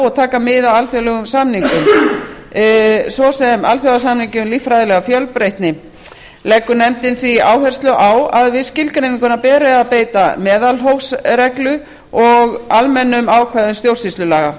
og taka mið af alþjóðlegum samningum svo sem alþjóðasamningi um líffræðilega fjölbreytni leggur nefndin því áherslu á að við skilgreininguna beri að beita meðalhófsreglu og almennum ákvæðum stjórnsýslulaga